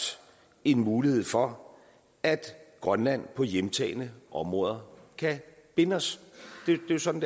en mulighed for at grønland på hjemtagne områder kan binde os det er jo sådan